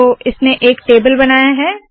तो इसने एक टेबल बनाया है